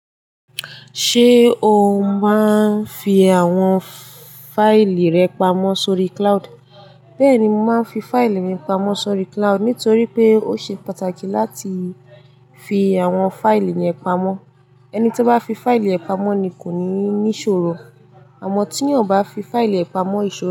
Ṣé o máa ń fi àwọn fáìlì rẹ pamọ́ sórí cloud? Bẹ́ẹ̀ ni, mo máa ń fi fáìlì mi pamọ́ sórí cloud nítorí pé ó ṣe pàtàkì láti fi àwọn fáìlì yẹn pamọ́. Ẹni tó bá fi fáìlì rẹ̀ pamọ́ ni kò ní ní ìṣòro, àmọ́ tí ẹni kò bá fi fáìlì rẹ̀ pamọ́, ìṣòro.